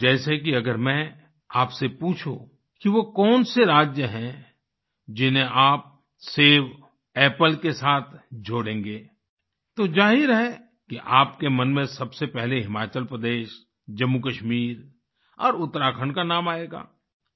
अब जैसे कि अगर मैं आपसे पूछूँ कि वो कौन से राज्य हैं जिन्हें आप सेब एपल के साथ जोडेंगे तो जाहिर है कि आपके मन में सबसे पहले हिमाचल प्रदेश जम्मूकश्मीर और उत्तराखंड का नाम आएगा